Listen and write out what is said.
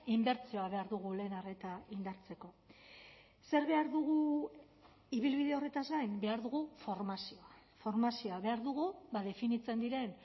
inbertsioa behar dugu lehen arreta indartzeko zer behar dugu ibilbide horretaz gain behar dugu formazioa formazioa behar dugu definitzen diren